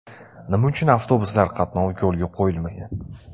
Nima uchun avtobuslar qatnovi yo‘lga qo‘yilmagan?